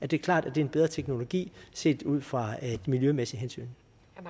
det er klart at det er en bedre teknologi set ud fra et miljømæssigt hensyn